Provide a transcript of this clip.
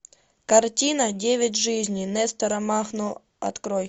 картина девять жизней нестора махно открой